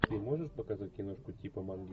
ты можешь показать киношку типа манги